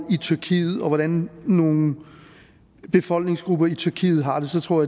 i tyrkiet og hvordan nogle befolkningsgrupper i tyrkiet har det så tror